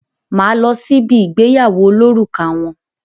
Má á lọ sí bi ìgbéyàwó olórùka wọn.